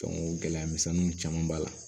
gɛlɛyamisɛnninw caman b'a la